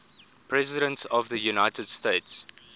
presidents of the united states